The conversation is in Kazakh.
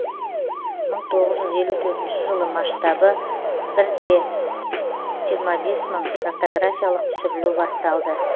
мың тоғыз жүз елу төртінші жылы масштабы бір де жиырма бес мың картографиялық түсірілу басталды